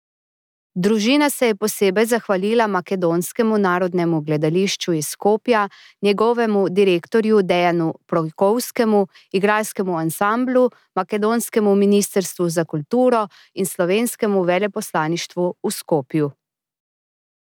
Družina se je posebej zahvalila Makedonskemu narodnemu gledališču iz Skopja, njegovemu direktorju Dejanu Projkovskemu, igralskemu ansamblu, makedonskemu ministrstvu za kulturo in slovenskemu veleposlaništvu v Skopju.